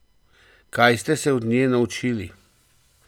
Kaj ste se od nje naučili?